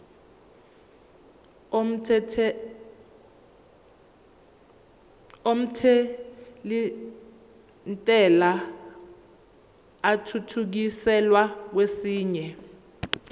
omthelintela athuthukiselwa kwesinye